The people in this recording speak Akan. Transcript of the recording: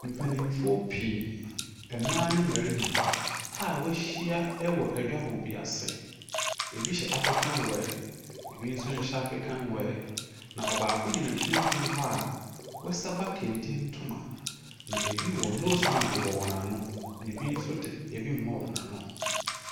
Mpanimfoɔ pii, mmaa ne mmarima a ɛɔahyia wɔ adwabɔ bi ase. Ebi hyɛ African ebi nso nhyɛ African wear. Na ɔbaako gyina mfimfini hɔ a, wasaba kente ntoma. Na ebi wɔ nose mask bɔ wɔn ano, ebi nso de nose mask mmɔ wɔn ano,.